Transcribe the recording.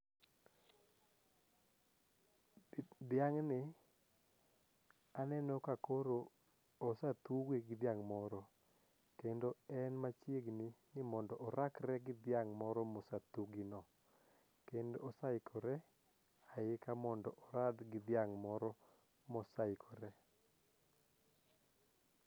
Dhiang' ni aneno ka koro ose thuwgi gi dhiang' moro kendo en machiegni ni mondo orakre gi dhiang' moro mose thuwgi go kendo oseikore aika mondo orad gi dhiang' moro mosaikore.